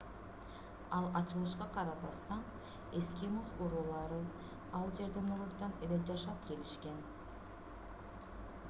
ал ачылышка карабастан эскимос уруулары ал жерде мурунтан эле жашап келишкен